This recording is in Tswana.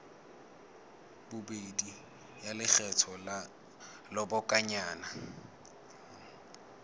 bobedi ya lekgetho la lobakanyana